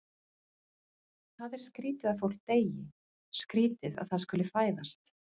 Það er skrýtið að fólk deyi, skrýtið að það skuli fæðast.